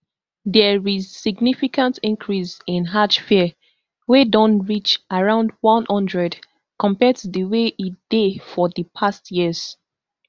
dia is significant increase in hajj fare wey don reach around one hundred compared to di way e dey for di past years